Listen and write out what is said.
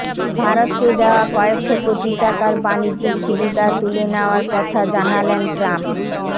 ভারতকে দেওয়া কয়েকশো কোটি টাকার বাণিজ্যিক সুবিধা তুলে নেওয়ার কথা জানালেন ট্রাম্প